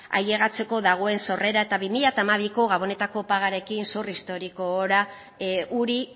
ailegatzeko dagoen sorrera eta bi mila hamabiko gabonetako pagaren zor historiko